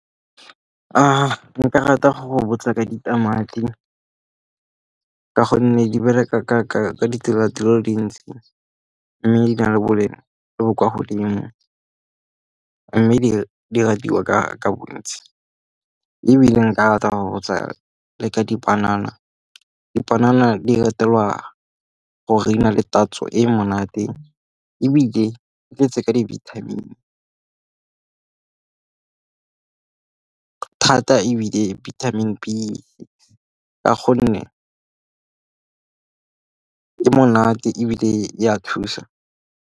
Nka rata go botsa ka ditamati ka gonne di bereka ka ditsela dile dintsi, mme di na le boleng jo bo kwa godimo. Mme di ratiwa ka bontsi. Ebile nka rata go botsa le ka dipanana, dipanana di ratelwa go re di na le tatso e monate ebile e tletse ka di-vitamin-e, thata ebile di-vitamin-e B ka gonne ke monate ebile ya thusa.